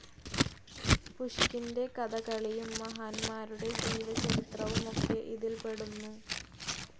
പുഷ്കിൻ്റെ കഥകളിയും മഹാന്മാരുടെ ജീവച്ചരിത്രവുമൊക്കെ ഇതിൽപ്പെടുന്നു.